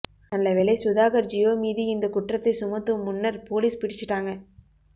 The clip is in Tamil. நல்லவேளை சுதாகர் ஜியோ மீது இந்த குற்றத்தை சுமத்தும் முன்னர் போலீஸ் பிடிச்சுட்டாங்க